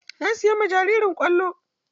Na siyan ma jaririn kwallo.